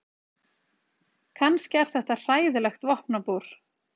Kannski er þetta hræðilegt vopnabúr.